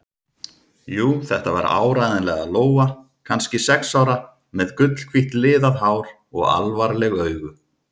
Jú, þetta var áreiðanlega Lóa, kannski sex ára, með gulhvítt liðað hár og alvarleg augu.